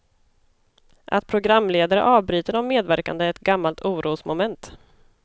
Att programledare avbryter de medverkande är ett gammalt orosmoment.